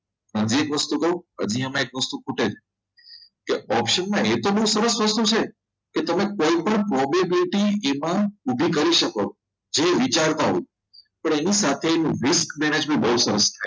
હજી એક વસ્તુ કહું હજી એક વસ્તુ આમાં ખૂટે છે કે option માં એ તો એક બહુ સરસ સસ્તું છે કે તમે કોઈ પણ probability એ પણ ઊભી કરી શકો છો જે વિચારતા હોય અને એની સાથે બહુ